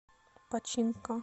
починка